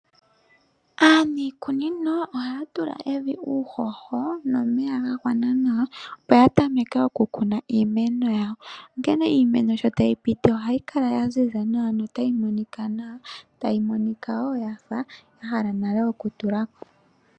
Aaniikunino ohaya tula evi uuhoho nomeya gagwana nawa opo yatameke okukuna iimeno yawo, onkene iimeno sho tayi piti ohayi kala yaziza nawa notayi monika nawa tayi monika wo wafa yahala nale okutulako.